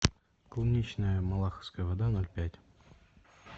клубничная малаховская вода ноль пять